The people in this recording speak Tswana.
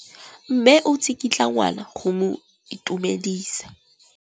Mme o tsikitla ngwana go mo itumedisa.